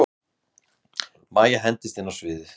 Mæja hendist inn á sviðið.